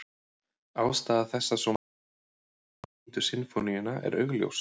Ástæða þess að svo margir hafa eignað sér Níundu sinfóníuna er augljós.